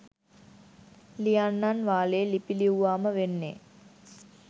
ලියන්නන් වාලේ ලිපි ලිව්වාම වෙන්නේ